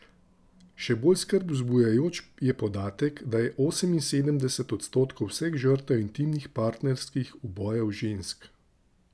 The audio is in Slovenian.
Še bolj skrb zbujajoč je podatek, da je oseminsedemdeset odstotkov vseh žrtev intimnih partnerskih ubojev žensk.